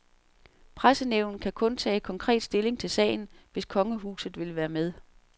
Pressenævnet kan kun tage konkret stilling til sagen, hvis kongehuset vil være med.